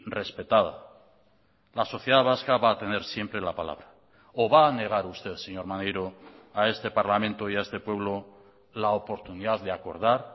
respetada la sociedad vasca va a tener siempre la palabra o va a negar usted señor maneiro a este parlamento y a este pueblo la oportunidad de acordar